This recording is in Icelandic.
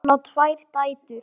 Hann á tvær dætur.